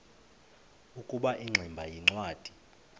ukuba ingximba yincwadi